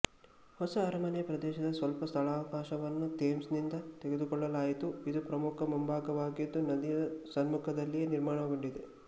ಹೊಸ ಅರಮನೆ ಪ್ರದೇಶದ ಸ್ವಲ್ಪ ಸ್ಥಳಾವಕಾಶವನ್ನು ಥೇಮ್ಸ್ ನಿಂದ ತೆಗೆದುಕೊಳ್ಳಲಾಯಿತು ಇದು ಪ್ರಮುಖ ಮುಂಭಾಗವಾಗಿದ್ದು ನದಿಯ ಸಮ್ಮುಖದಲ್ಲಿ ನಿರ್ಮಾಣಗೊಂಡಿದೆ